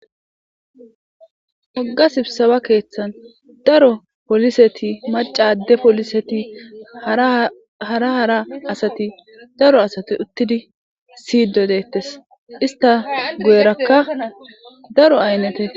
Woga sibisebba keththanni daro poliseti maca adee poliseti hara hara asati daro asati uttidi siyiddi detees.isitta guyerakka daro ayinete